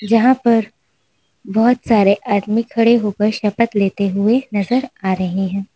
जहां पर बहोत सारे आदमी खड़े होकर शपथ लेते हुए नजर आ रहे हैं।